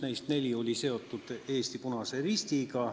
Neist neli olid seotud Eesti Punase Ristiga.